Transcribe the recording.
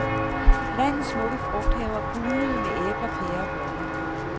Landets smukke frugthaver bugnede med æbler, pærer og blommer.